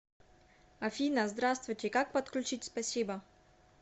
афина здравствуйте как подключить спасибо